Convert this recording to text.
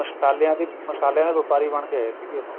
ਮਸਲਿਆਂ ਦੀ ਮਸਲਿਆਂ ਦੇ ਵਪਾਰੀ ਬਣ ਕੇ ਆਏ ਸੀਗੇ ਉਹ